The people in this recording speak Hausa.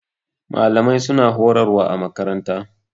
Malamai su na horarwa a makaranta